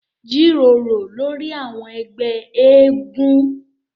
Jíròrò lórí àwọn ẹgbẹ́ eégún